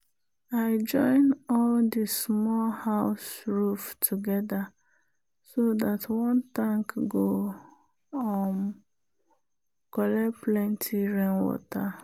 i join all the small house roof together so dat one tank go um collect plenty rainwater.